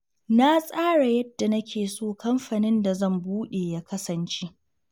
Na tsara yadda nake so kamfanin da zan buɗe ya kasance.